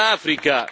Infine, l'Africa.